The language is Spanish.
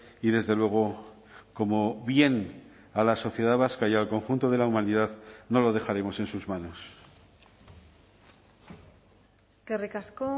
y desde luego como bien a la sociedad vasca y al conjunto de la humanidad no lo dejaremos en sus manos eskerrik asko